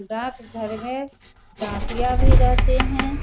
डाकघर में डाकिया भी रहते हैं।